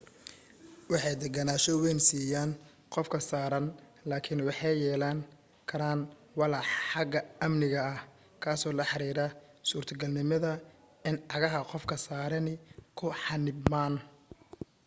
waxay deganaasho weyn siiyaan qofka saaran laakin waxay yeelan karaan walaac xagga amniga ah kaasoo la xiriira suurtagalnimada in cagaha qofka saarani ku xannibmaan